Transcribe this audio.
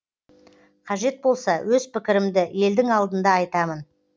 қажет болса өз пікірімді елдің алдында айтамын